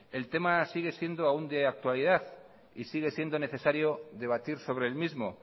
el tema sigue siendo aún de actualidad y sigue siendo necesario debatir sobre el mismo